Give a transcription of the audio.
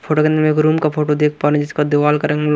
photo के अंदर में एक रूम का फोटो देख पा रहे हैं जिसका दीवार का रंग--